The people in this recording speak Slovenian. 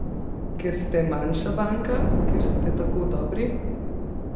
Ker ste manjša banka, ker ste tako dobri?